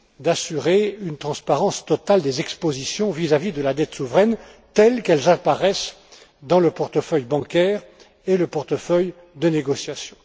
d'assurer une transparence totale des expositions vis à vis de la dette souveraine telles qu'elles apparaissent dans le portefeuille bancaire et le portefeuille de négociations.